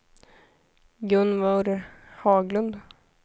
Gunvor Haglund